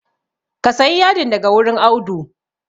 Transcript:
Ka sayi yadin daga wurin Audu